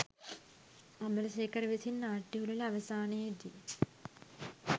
අමරසේකර විසින් නාට්‍ය උළෙල අවසානයේ දී